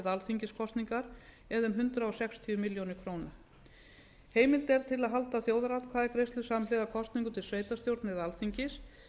alþingiskosningar eða um hundrað sextíu milljónir króna heimild til að halda þjóðaratkvæðagreiðslu samhliða kosningum til sveitarstjórna eða alþingis